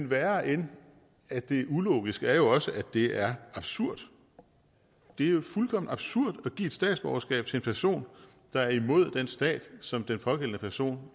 værre end at det er ulogisk er jo også at det er absurd det er fuldkommen absurd at give et statsborgerskab til en person der er imod den stat som den pågældende person